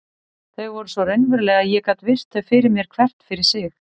Þau voru svo raunveruleg að ég gat virt þau fyrir mér hvert fyrir sig.